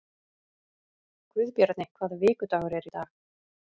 Guðbjarni, hvaða vikudagur er í dag?